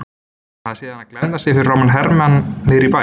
Hann hafði séð hana glenna sig framan í hermann niðri í bæ.